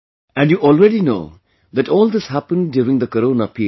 And you already know that all this happened during the Corona period